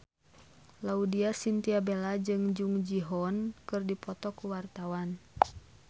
Laudya Chintya Bella jeung Jung Ji Hoon keur dipoto ku wartawan